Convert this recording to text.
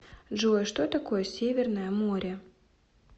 джой что такое северное море